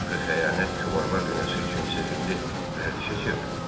Axı xəyanət kübarlar dünyası üçün sevimli vərdişə çevrilib.